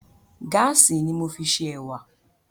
Gáàsì ni mo fi ṣe ẹ̀wà